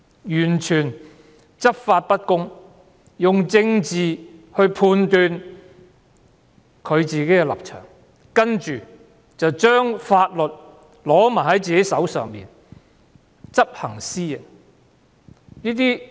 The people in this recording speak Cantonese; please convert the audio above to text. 警隊執法不公，用政治來判斷自己的立場，然後手執法律，執行私刑。